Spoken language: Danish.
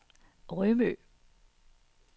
Rømø